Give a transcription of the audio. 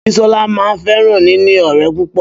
Bísọ́lá máa n fẹ́ràn níní ọ̀rẹ́ púpọ̀